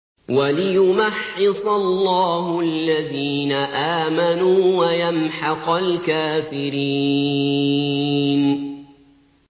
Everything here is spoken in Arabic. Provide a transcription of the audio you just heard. وَلِيُمَحِّصَ اللَّهُ الَّذِينَ آمَنُوا وَيَمْحَقَ الْكَافِرِينَ